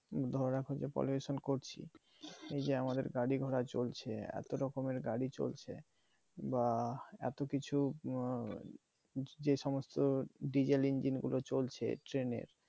ধরো এখন যে pollution করছি এই যে আমাদের গাড়ি ঘোড়া চলছে এতো রকমের গাড়ি চলছে বা এতো কিছু যেই সমস্ত diesel engine গুলো চলছে train এর